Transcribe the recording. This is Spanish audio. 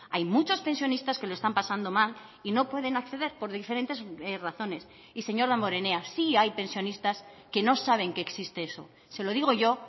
hay muchos pensionistas que lo están pasando mal y no pueden acceder por diferentes razones y señor damborenea sí hay pensionistas que no saben que existe eso se lo digo yo